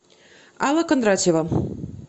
алла кондратьева